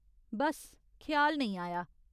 बस्स ख्याल नेईं आया।